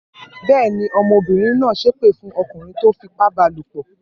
Bẹ́ẹ̀ ni, ọmọbìnrin náà ṣépè fún ọkùnrin tó fipá ba lòpọ̀.